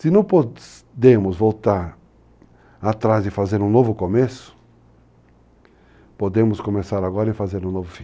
Se não podemos voltar atrás e fazer um novo começo, podemos começar agora e fazer um novo fim.